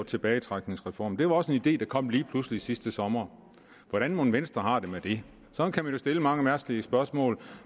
tilbagetrækningsreform det var også en idé der kom lige pludselig sidste sommer hvordan mon venstre har det med det sådan kan man jo stille mange mærkelige spørgsmål